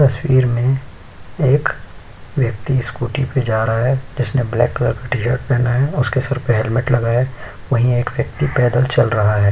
तस्वीर मे एक व्यक्ति स्कूटी पे जा रहा है। इसने ब्लैक कलर का टी-शर्ट पहना है और उसके सिर पर हेलमेट लगा है। वहीं एक व्यक्ति पैदल चल रहा है।